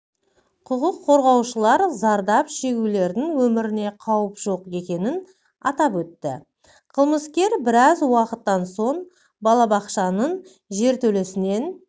құқық қорғаушылар зардап шегушілердің өміріне қауіп жоқ екенін атап өтті қылмыскер біраз уақыттан соң балабақшаның жертөлесінен